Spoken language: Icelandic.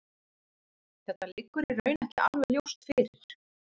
Þetta liggur í raun ekki alveg ljóst fyrir.